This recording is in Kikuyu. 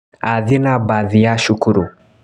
Athiĩ na mbathi ya cukuru